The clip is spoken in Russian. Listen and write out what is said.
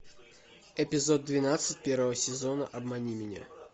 эпизод двенадцать первого сезона обмани меня